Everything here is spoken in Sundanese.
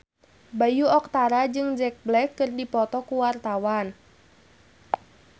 Bayu Octara jeung Jack Black keur dipoto ku wartawan